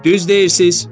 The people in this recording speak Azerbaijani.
Düz deyirsiz.